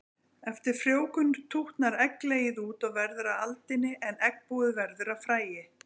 Eftir frjóvgun tútnar egglegið út og verður að aldini en eggbúið verður að fræi.